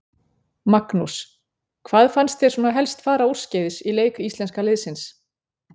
Magnús: Hvað fannst þér svona helst fara úrskeiðis í leik íslenska liðsins?